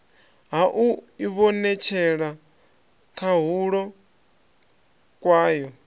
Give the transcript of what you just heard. ha u ivhonetshela khahulo kwayo